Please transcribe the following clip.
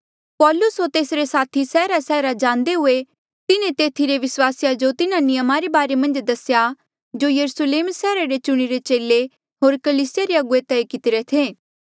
पौलूस होर तेसरे साथी सैहरासैहरा जांदे हुए तिन्हें तेथी रे विस्वासिया जो तिन्हा नियमा रे बारे मन्झ दसेया जो यरुस्लेम सैहरा रे चुणिरे चेले होर कलीसिया रे अगुवे तय कितिरे थे